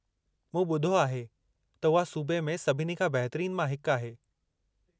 मूं ॿुधो आहे त उहा सूबे में सभिनी बहितरीन मां हिकु आहे?